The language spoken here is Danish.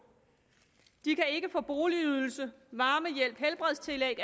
de kan ikke få boligydelse varmehjælp helbredstillæg